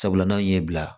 Sabula n'an ye bila